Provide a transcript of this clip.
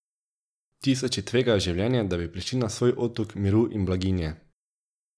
Tisoči tvegajo življenje, da bi prišli na svoj otok miru in blaginje.